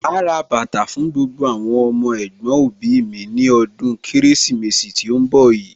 Màá rà bàtà fún gbogbo àwọn ọmọ ẹ̀gbọ̀n òbí mi ní ọdún Kérésìmesì tí ń bọ̀ yìí